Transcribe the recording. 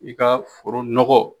I ka foro nɔgɔ